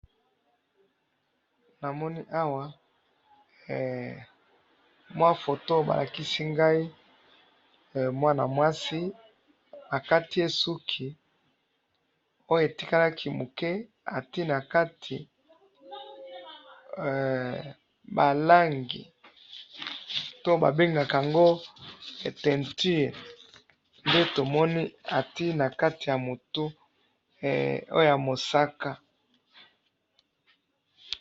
Namoni awa mua photo balakisi ngai mwana mwasi akatiye suki oyo etikalaki muke atie na kati ba langi to babengaka yango teinture nde tomoni atie na kati ya mutu, oyo ya mosaka